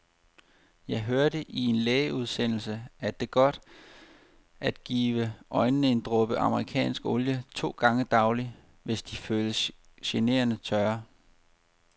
Jeg hørte i en lægeudsendelse, at det er godt at give øjnene en dråbe amerikansk olie to gange daglig, hvis de føles generende tørre.